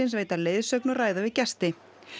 veita leiðsögn og ræða við gesti